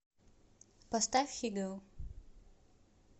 поставь хиго